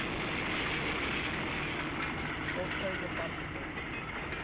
of sy departement